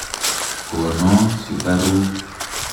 Kono sukaruk.